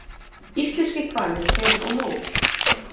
Íslenskir hvalir fyrr og nú.